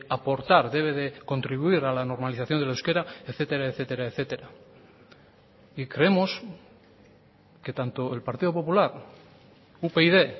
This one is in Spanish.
aportar debe de contribuir a la normalización del euskera etcétera etcétera etcétera y creemos que tanto el partido popular upyd